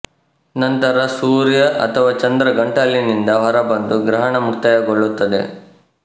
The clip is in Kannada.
ನಂತರ ಸೂರ್ಯ ಅಥವಾ ಚಂದ್ರ ಗಂಟಲಿನಿಂದ ಹೊರಬಂದು ಗ್ರಹಣ ಮುಕ್ತಾಯಗೊಳುತ್ತದೆ